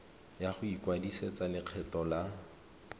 ya go ikwadisetsa lekgetho la